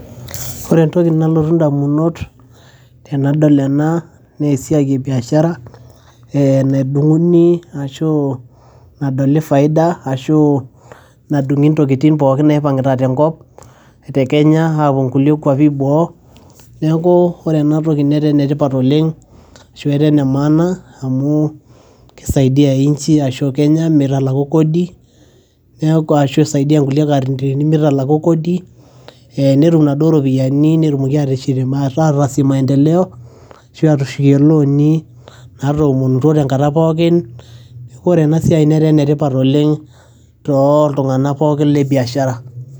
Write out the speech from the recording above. Ore entoki nalotu indamunot, tenadol ena, nesiai ebiashara, nedung'uni ashu nadoli faida ashu nadung'i intokiting pookin naipang'ita tenkop, te Kenya apuo nkulie kwapi eboo, neeku ore enatoki netaa enetipat oleng',ashu etaa enemaana amu, kisaidiai inchi ashu Kenya mitalaku kodi ,neeku ashu isaidia nkulie katintrini mitalaku kodi ,netum inaduo ropiyaiani netumoki ateshet mata ata si maendeleo, ashu atushukie ilooni natomontuo tenkata pookin. Neeku ore enasiai netaa enetipat oleng, toltung'anak pookin lebiashara.